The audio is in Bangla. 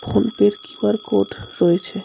ফোনপে এর কিউ_আর কোড রয়েছে.